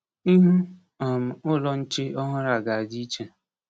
Ihu um ụlọ nche ọhụrụ a ga-adị iche.